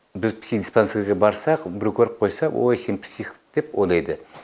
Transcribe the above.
біз психдиспансерге барсақ көріп қойса ой сен псих деп ойлайды